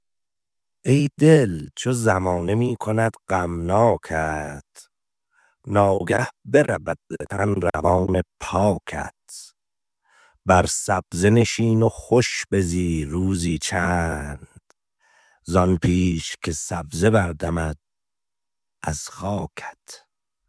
ای دل چو زمانه می کند غمناکت ناگه برود ز تن روان پاکت بر سبزه نشین و خوش بزی روزی چند زآن پیش که سبزه بردمد از خاکت